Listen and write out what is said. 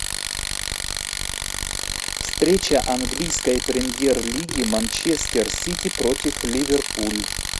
встреча английской премьер лиги манчестер сити против ливерпуль